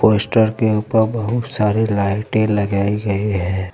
Poster के ऊपर बहुत सारे लाइटे लगाई गई हैं।